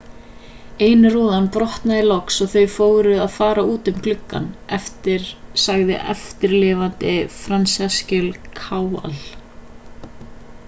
ein rúðan brotnaði loks og þau fóru að fara út um gluggann sagði eftirlifandinn franciszek kowal